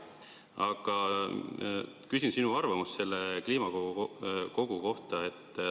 Aga küsin sinu arvamust selle kliimakogu kohta.